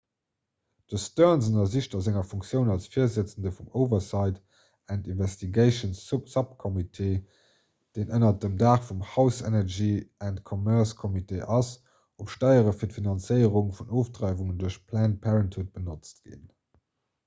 de stearns ënnersicht a senger funktioun als virsëtzende vum oversight and investigations subcommittee deen ënner dem daach vum house energy and commerce committee ass ob steiere fir d'finanzéierung vun ofdreiwungen duerch planned parenthood benotzt ginn